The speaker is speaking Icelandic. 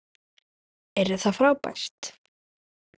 Yrði það frábært?